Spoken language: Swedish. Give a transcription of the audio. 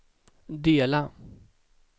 dela